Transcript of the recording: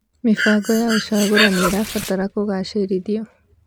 Mĩbango ya ũcagũrani ĩrabatara kũgacĩrithio.